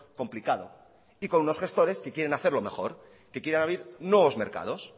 complicado y con unos gestores que quieren hacerlo mejor que quieren abrir nuevos mercados